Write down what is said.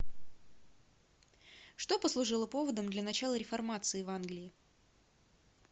что послужило поводом для начала реформации в англии